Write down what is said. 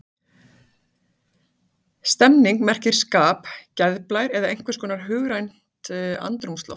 Stemning merkir skap, geðblær eða einhvers konar hugrænt andrúmsloft.